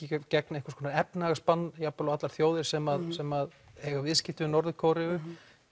einhvers konar jafnvel á allar þjóðir sem sem eiga viðskipti við Norður Kóreu